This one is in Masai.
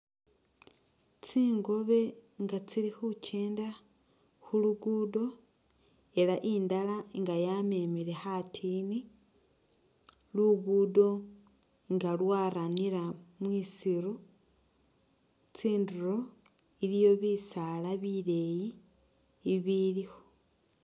Tsingobe nga tsili khukyenda khulugudo ela indala nga yamemele khatini , lugudo nga lwaranira mwisiru tsinduro iliyo bisala bileyi ibilikho.